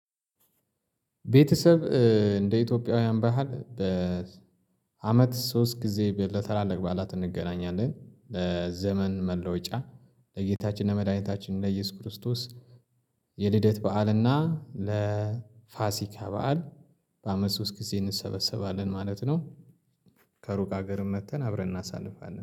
ቤተሰብ እንደ ኢትዮጵያውያን ባህል በአመት ሶስት ጊዜ ለተላላቅ በዓላት እንገናኛለን ለዘመን መለወጫ ለጌታችን ለመድኃኒታችን ለኢየሱስ ክርስቶስ። የልደት በዓልና ለፋሲካ በዓል በአመት ሶስት ጊዜ እንሰበሰባለን ማለት ነው። ከሩቅ ሀገርም መጥተን አብረን እናሳልፋለን